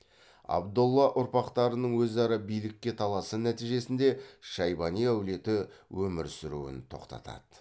абдолла ұрпақтарының өзара билікке таласы нәтижесінде шайбани әулеті өмір сүруін тоқтатады